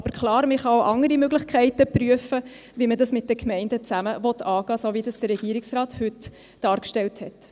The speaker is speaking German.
Aber klar, man kann auch andere Möglichkeiten prüfen, wie man das mit den Gemeinden zusammen angehen will, so wie das der Regierungsrat heute dargestellt hat.